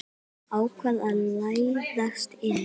Ákvað að læðast inn.